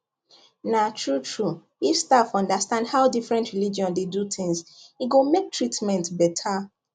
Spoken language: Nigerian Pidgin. na true true if staff understand how different religion dey do things e go make treatment better